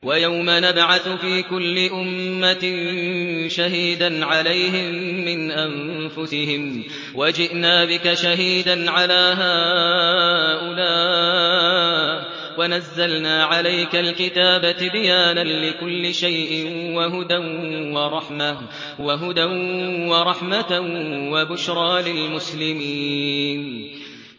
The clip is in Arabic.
وَيَوْمَ نَبْعَثُ فِي كُلِّ أُمَّةٍ شَهِيدًا عَلَيْهِم مِّنْ أَنفُسِهِمْ ۖ وَجِئْنَا بِكَ شَهِيدًا عَلَىٰ هَٰؤُلَاءِ ۚ وَنَزَّلْنَا عَلَيْكَ الْكِتَابَ تِبْيَانًا لِّكُلِّ شَيْءٍ وَهُدًى وَرَحْمَةً وَبُشْرَىٰ لِلْمُسْلِمِينَ